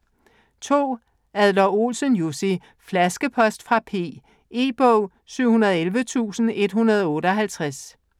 Adler-Olsen, Jussi: Flaskepost fra P E-bog 711158